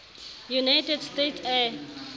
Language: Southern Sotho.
united states air